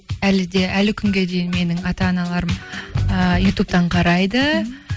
әлі де әлі күнге дейін менің ата аналарым ыыы ютубтан қарайды